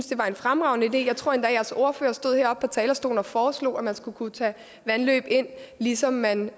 det var en fremragende idé jeg tror jeres ordfører stod heroppe på talerstolen og foreslog at man skulle kunne tage vandløb ind ligesom man